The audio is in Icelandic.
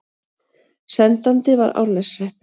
Sendandi var Árneshreppur.